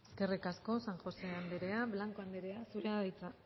eskerrik asko san josé anderea blanco anderea zurea da hitza